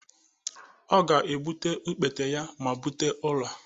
Ọ ga-egbute okpete ya ma bute ụlọ